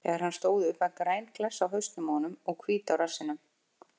Þegar hann stóð upp var græn klessa á hausnum á honum og hvít á rassinum.